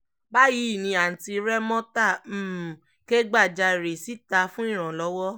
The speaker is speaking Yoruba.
báyìí ni aunti remota um kẹ́gbajarè síta fún ìrànlọ́wọ́